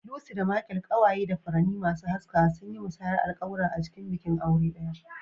Lucy da Michael, kewaye da furanni masu haskawa, sun yi musayar alƙawura a cikin bikin aure ɗaya.